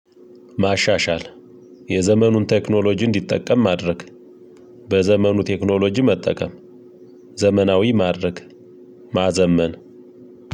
ማሻሻል የዘመኑን ቴክኖሎጂ እንዲጠቀም ማድረግ በዘመኑ ቴክኖሎጂ መጠቀም ዘመናዊ ማድረግ ማዘመን።